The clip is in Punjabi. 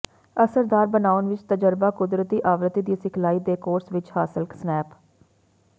ਅਸਰਦਾਰ ਬਣਾਉਣ ਵਿਚ ਤਜਰਬਾ ਕੁਦਰਤੀ ਆਵਰਤੀ ਦੀ ਸਿਖਲਾਈ ਦੇ ਕੋਰਸ ਵਿੱਚ ਹਾਸਲ ਸਨੈਪ